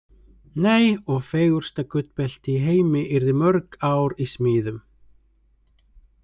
Nei, og fegursta gullbelti í heimi yrði mörg ár í smíðum.